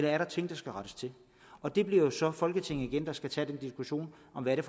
er ting der skal rettes til og det bliver jo så folketinget igen der skal tage den diskussion om hvad det